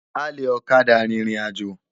Álé òkâdá ririnájô